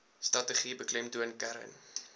strategie beklemtoon kern